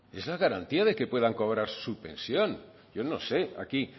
es la garantía de que puedan cobrar su pensión yo no sé aquí